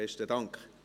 Besten Dank.